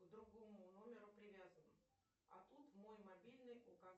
к другому номеру привязан а тут мой мобильный указан